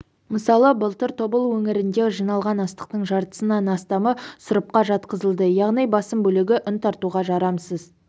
мысалы былтыр тобыл өңірінде жиналған астықтың жартысынан астамы сұрыпқа жатқызылды яғни басым бөлігі ұн тартуға жарамсыз